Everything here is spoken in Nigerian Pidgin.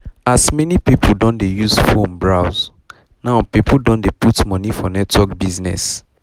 as many people don dey use phone browse now people don dey put money for network business